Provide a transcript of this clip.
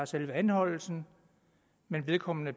selve anholdelsen men vedkommende